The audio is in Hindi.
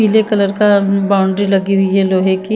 पिले कलर का बाउंड्री लगी हुई है लोहे की।